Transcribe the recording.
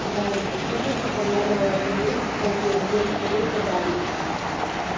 сказал он с нежностью поглядывая на то место в толпе где растворился гарри